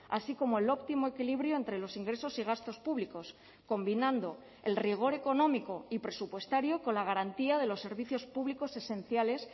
así como el óptimo equilibrio entre los ingresos y gastos públicos combinando el rigor económico y presupuestario con la garantía de los servicios públicos esenciales